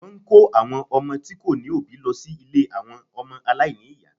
Wọ́n ń kó àwọn ọmọ tí kò ní òbí lọ sí ilé àwọn ọmọ aláìní ìyá